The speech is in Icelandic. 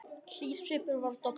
Hlýr svipur var að dofna.